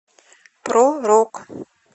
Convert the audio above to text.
про рок